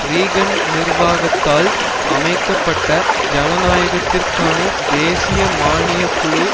Reagan நிர்வாகத்தால் அமைக்க பட்ட ஜனநாயகத்திற்கான தேசிய மானியக் குழு